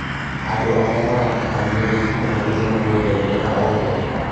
Andũ arĩa maratabania wĩkinaĩ nĩmarongerereka o mwaka